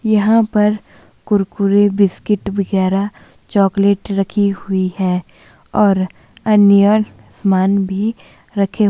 यहां पर कुरकुरे बिस्किट वगैराह चॉकलेट रखी हुई है और अन्य समान भी रखे--